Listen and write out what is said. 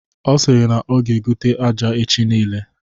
Ọ sịrị na ọ ga egote aja echi nile.